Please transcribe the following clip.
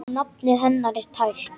Nafnið hennar er tært.